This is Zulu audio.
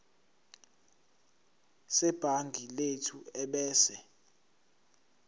sebhangi lethu ebese